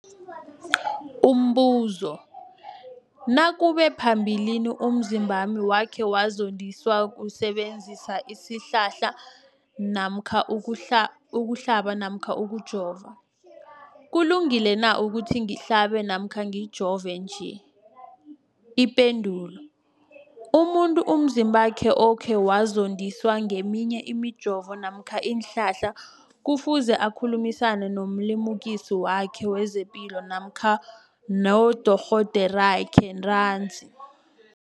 Umbuzo, nakube phambilini umzimbami wakhe wazondiswa kusebenzisa isihlahla namkha ukuhlaba namkha ukujova, kulungile na ukuthi ngihlabe namkha ngijove nje? Ipendulo, umuntu umzimbakhe okhe wazondiswa ngeminye imijovo namkha iinhlahla kufuze akhulumisane nomlimukisi wakhe wezepilo nakha nodorhoderakhe ntanzi.